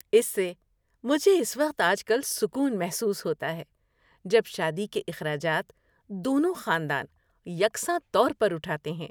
اس سے مجھے اس وقت آج کل سکون محسوس ہوتا ہے جب شادی کے اخراجات دونوں خاندان یکساں طور پر اٹھاتے ہیں۔